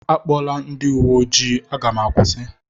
A kpọla ndị uwe ojii. Aga m akwusi